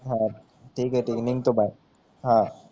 हा ठिके ठिक निंगतो बाय